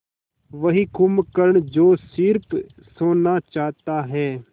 वही कुंभकर्ण जो स़िर्फ सोना चाहता है